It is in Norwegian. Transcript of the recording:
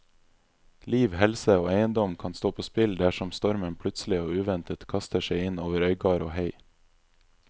Liv, helse og eiendom kan stå på spill dersom stormen plutselig og uventet kaster seg inn over øygard og hei.